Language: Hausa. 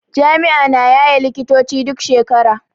Jami'a na yaye likitoci duk shekara.